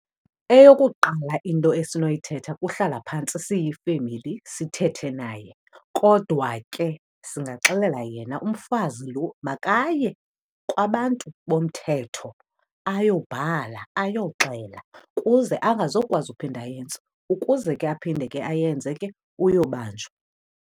Eyokuqala into esinoyithetha kuhlala phantsi siyifemeli sithethe naye. Kodwa ke singaxelela yena umfazi lo makaye kwabantu bomthetho ayobhala, ayoxela kuze angazokwazi uphinda ayenze. Ukuze ke aphinde ke ayenze ke uyobanjwa.